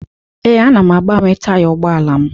Ee, ana m agbanwe taya ụgbọala m.